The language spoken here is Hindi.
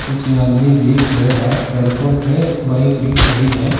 कुछ आदमी भी खड़े हैं सड़कों पे बाइक भी खड़ी है।